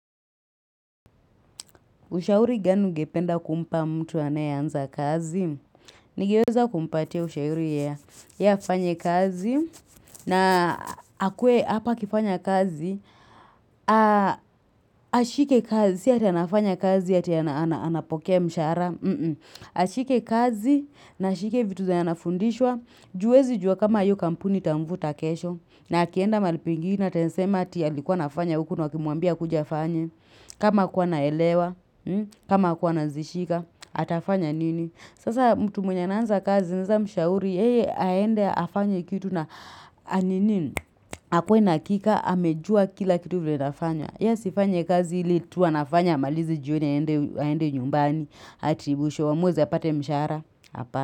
Ushauri gani ungependa kumpa mtu anayebanza kazi? Ningeweza kumpatie ushauri ya yeye afanye kazi na akuwe hapa akifanya kazi. Ashike kazi, si ati anafanya kazi ati anapokea mshara. Ashike kazi na ashike vitu zenye anafundishwa. Juu huwezi jua kama yu kampuni itamvuta kesho. Na akienda mahali pengine na atesema hati alikuwa anafanya huku nawakimuambia akuje fanye kama hqkuwa anaelewa, kama hakuwana anazishika, atafanya nini. Sasa mtu mwenye ana anza kazi, naweza mshauri, yeye aende afanye kitu na anini. Akue na kika, amejua kila kitu vile nafanywa. Ya sifanye kazi ili tu anafanya, amalize jioni aende aende nyumbani. Ati mwisho wa mwezi apate mshahara. Apana.